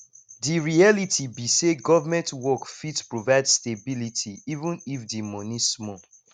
di reality be sey government work fit provide stability even if di money small